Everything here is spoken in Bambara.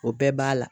O bɛɛ b'a la